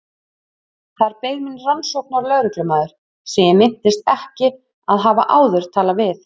Þar beið mín rannsóknarlögreglumaður sem ég minntist ekki að hafa áður talað við.